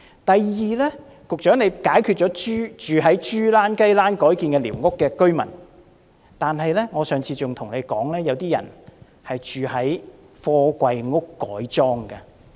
第二，局長，除了住在雞欄或豬欄改建的寮屋的居民，我上次還對局長說過，有些人住在貨櫃改裝的房子。